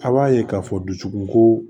A b'a ye k'a fɔ dusukun ko